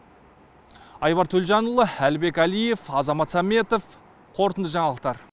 айбар төлжанұлы әлібек әлиев азамат саметов қорытынды жаңалықтар